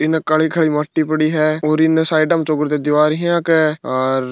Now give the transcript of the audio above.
इन काली काली माटी पड़ी है और इन साइड में चोगरद दीवार है अक हार --